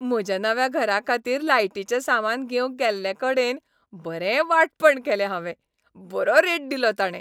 म्हज्या नव्या घराखातीर लायटीचें सामान घेवंक गेल्लेकडेन बरें वांटपण केलें हांवें! बरो रेट दिलो ताणें.